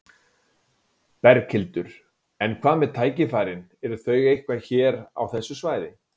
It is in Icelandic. Berghildur: En hvað með tækifærin, eru þau einhver hér á þessu svæði?